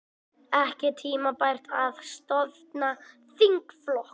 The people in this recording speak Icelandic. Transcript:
Ekki tímabært að stofna þingflokk